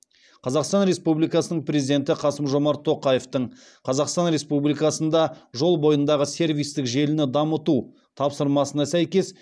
қазақстан республикасының президенті қасым жомарт тоқаевтың қазақстан республикасында жол бойындағы сервистік желіні дамыту тапсырмасына сәйкес